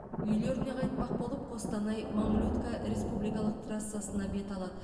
үйлеріне қайтпақ болып қостанай мамлютка республикалық трассасына бет алады